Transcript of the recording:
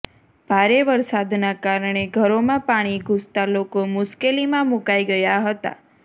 ભારે વરસાદના કારણે ઘરોમાં પાણી ઘૂસતા લોકો મુશ્કેલીમાં મુકાઈ ગયા હતાં